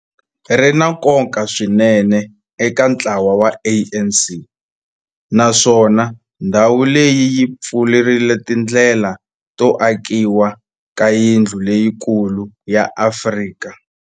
Ri na nkoka swinene eka ntlawa wa ANC, naswona ndhawu leyi yi pfurile tindlela to akiwa ka yindlu leyikulu ya Afrika.